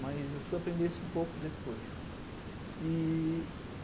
Mas eu fui aprender isso um pouco depois. E